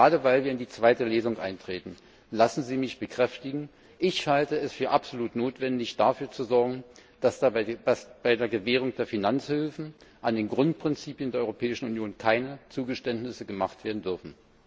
Gerade weil wir in die zweite Lesung eintreten, lassen Sie mich bekräftigen Ich halte es für absolut notwendig, dafür zu sorgen, dass bei der Gewährung der Finanzhilfen bei den Grundprinzipien der Europäischen Union keine Zugeständnisse gemacht werden dürfen.